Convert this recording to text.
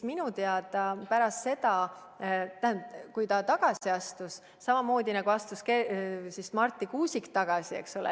Minu teada samamoodi astus Marti Kuusik tagasi, eks ole.